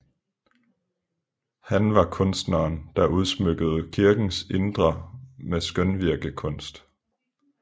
Han var kunsteren der udsmykkede kirkens indre med skønvirkekunst